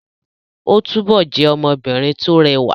Óò túbọ̀ jẹ́ ọmọbìnrin tó rẹwà